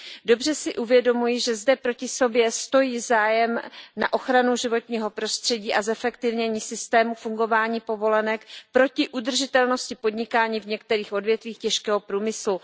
Dobře si uvědomuji, že zde proti sobě stojí zájem na ochranu životního prostředí a zefektivnění systému fungování povolenek proti udržitelnosti podnikání v některých odvětvích těžkého průmyslu.